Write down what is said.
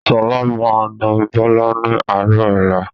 Sọlá máa na Bọlá ni àárọ̀ ọ̀la